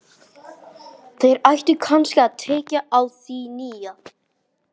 Þeir ættu kannski að tékka á því nýja.